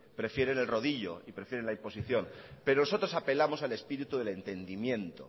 prefieren el rodillo y prefieren la imposición pero nosotros apelamos al espíritu del entendimiento